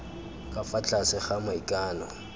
ka fa tlase ga maikano